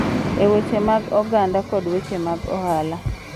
E weche mag oganda kod weche mag ohala